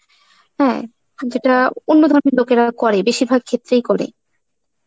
হ্যাঁ, আর যেটা অন্য ধর্মের লোকেরা করে, বেশিরভাগ ক্ষেত্রেই করে.